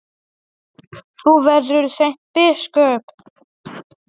Þú verður seint biskup!